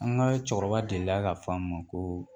An ka cɛkɔrɔba delila k'a fɔ an ma ko